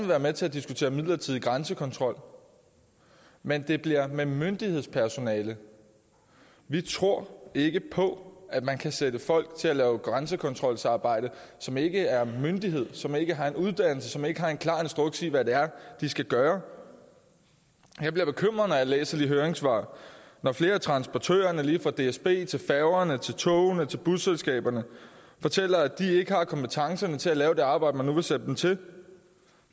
være med til at diskutere midlertidig grænsekontrol men det bliver med myndighedspersonale vi tror ikke på at man kan sætte folk til at lave grænsekontrolsarbejde som ikke er en myndighed som ikke har en uddannelse som ikke har en klar instruks i hvad det er de skal gøre jeg bliver bekymret når jeg læser de høringssvar hvor flere af transportørerne lige fra dsb til færge tog og busselskaberne fortæller at de ikke har kompetencerne til at lave det arbejde man nu vil sætte dem til